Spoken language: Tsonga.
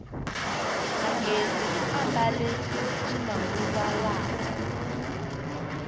magezi u ambale ximanguva lawa